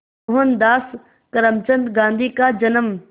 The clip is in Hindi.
मोहनदास करमचंद गांधी का जन्म